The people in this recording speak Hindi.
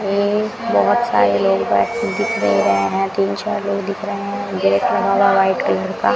हैं बहोत सारे लोग बैठे दिख नहीं रहे हैं तीन चार लोग दिख रहे हैं गेट लगा हुआ है व्हाइट कलर का।